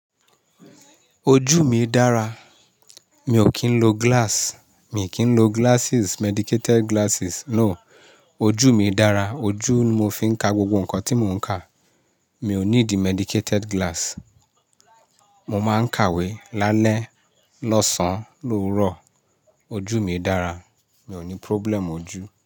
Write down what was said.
Ojú mi dára, mi ò kí ń lo glass, mi kì í lo glasses, medicated glasses no. Ojú mi dára, ojú ni mo fi ń ka gbogbo nǹkan tí mo ń kà. Mi ò ní di medicated glass. Mo máa ń kàwé lálẹ́, lọ́sàn-án, lowurọ. Ojú mi dára, mi ò ní problem ojú.